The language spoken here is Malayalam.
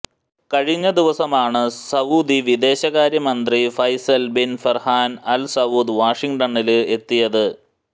കഴിഞ്ഞ ദിവസമാണ് സൌദി വിദേശ കാര്യ മന്ത്രി Faisal bin Farhan Al Saud വാഷിങ്ടണില് എത്തിയത്